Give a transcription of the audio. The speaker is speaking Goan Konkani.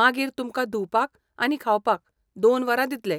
मागीर तुमकां धुवपाक आनी खावपाक दोन वरां दितले.